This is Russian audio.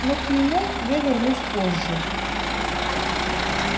но к нему я вернусь позже